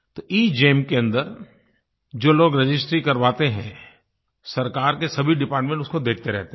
तो एगेम के अन्दर जो लोग रजिस्ट्री करवाते हैं सरकार के सभी डिपार्टमेंट उसको देखते रहते हैं